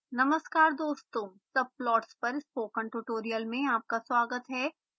नमस्कार दोस्तों subplots पर स्पोकन ट्यूटोरियल में आपका स्वागत है